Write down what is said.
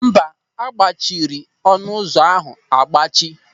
Mba, a gbachiri ọnụ ụzọ ahụ agbachi.